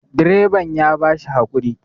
direban ya ba shi hakuri